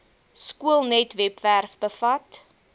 skoolnet webwerf bevat